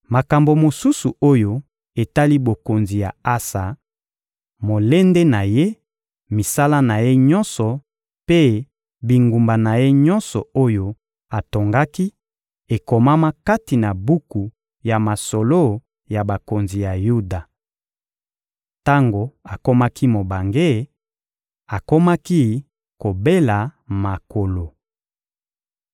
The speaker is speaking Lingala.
Makambo mosusu oyo etali bokonzi ya Asa, molende na ye, misala na ye nyonso mpe bingumba na ye nyonso oyo atongaki, ekomama kati na buku ya masolo ya bakonzi ya Yuda. Tango akomaki mobange, akomaki kobela makolo.